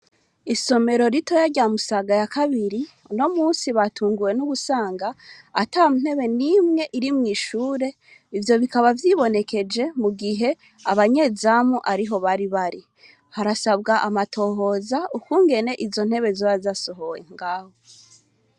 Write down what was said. Isomero ritoyi rya Musaga ya kabiri, uno musi batunguwe no gusanga ata ntebe n'imwe iri mw'ishure. Ivyo bikaba vyibonekeje mu gihe abanyezamu ariho bari bari. Harasabwa amatohoza, ukungene izo ntebe zoba zasohowe ngaho.